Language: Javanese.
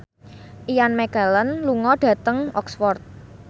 Ian McKellen lunga dhateng Oxford